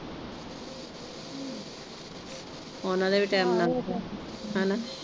ਉਨਾਂ ਦੇ ਵੀ ਟੈਮ ਲੱਗ ਜਾਣ ਹਨਾਂ।